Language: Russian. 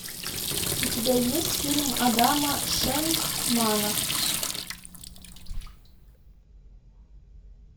у тебя есть фильм адама шенкмана